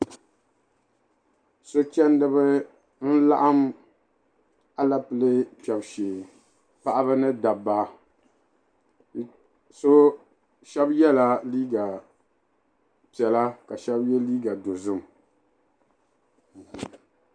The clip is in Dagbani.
So chɛndi bɛ laɣim alupile kpɛb shɛɛ paɣa ni dabba shɛb yɛla liiga piɛla ka shɛb yɛ liiga dozim.